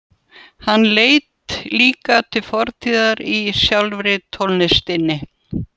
Hann leit líka til fortíðar í sjálfri tónlistinni.